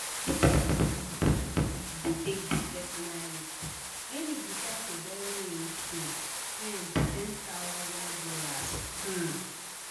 d person wey de first start de take big personal risk when e decide to borrow him um friend ten thousand dollars um